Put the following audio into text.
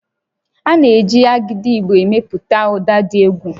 A na-eji Agidigbo emepụta ụda dị egwu